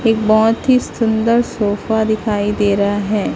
एक बहोत ही सुंदर सोफा दिखाई दे रहा है।